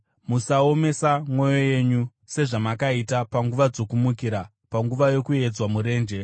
musaomesa mwoyo yenyu sezvamakaita panguva dzokumukira, panguva yokuedzwa murenje,